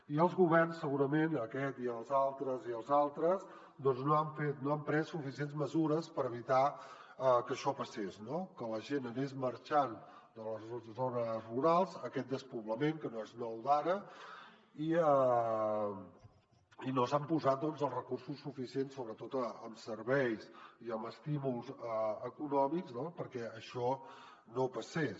i els governs segurament aquest i els altres i els altres doncs no han pres suficients mesures per evitar que això passés que la gent anés marxant de les zones rurals aquest despoblament que no és nou d’ara i no s’han posat els recursos suficients sobretot en serveis i en estímuls econòmics perquè això no passés